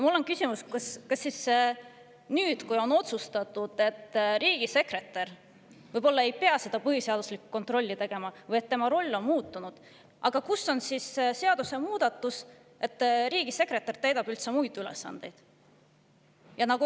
Mul on küsimus: kas siis nüüd, kui on otsustatud, et riigisekretär võib-olla ei pea seda põhiseaduslikkuse kontrolli tegema või et tema roll on muutunud, on kuskil seadusemuudatus, kus on öeldud, et riigisekretär täidab üldse muid ülesandeid?